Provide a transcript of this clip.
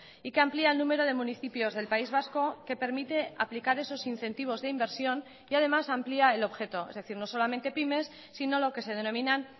y que amplía el número de municipios del país vasco que permite aplicar esos incentivos de inversión y además amplía el objeto es decir no solamente pymes sino lo que se denominan